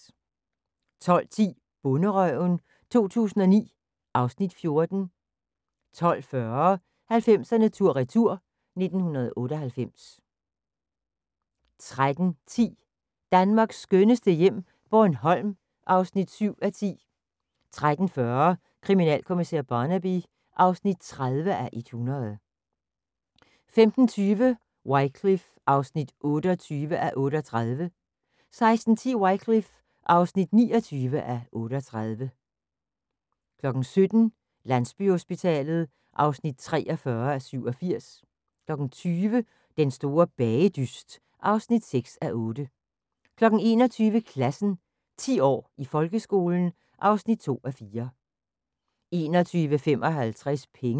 12:10: Bonderøven 2009 (Afs. 14) 12:40: 90'erne tur retur: 1998 13:10: Danmarks skønneste hjem - Bornholm (7:10) 13:40: Kriminalkommissær Barnaby (30:100) 15:20: Wycliffe (28:38) 16:10: Wycliffe (29:38) 17:00: Landsbyhospitalet (43:87) 20:00: Den store bagedyst (6:8) 21:00: Klassen – 10 år i folkeskolen (2:4) 21:55: Penge